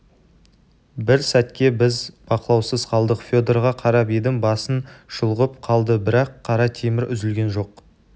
бір сәтке біз бақылаусыз қалдық федорға қарап едім басын шұлғып қалды бірақ қара темір үзілген жоқ